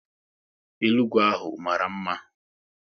Elu ugwu ahụ mara mma